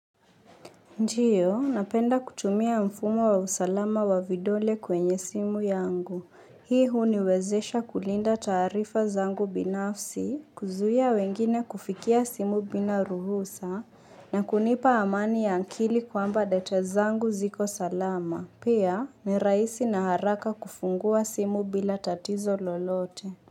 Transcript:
Ndio, napenda kutumia mfumo wa usalama wa vidole kwenye simu yangu. Hii huniwezesha kulinda taarifa zangu binafsi, kuzuia wengine kufikia simu bila ruhusa, na kunipa amani ya akili kwamba data zangu ziko salama. Pia ni rahisi na haraka kufungua simu bila tatizo lolote.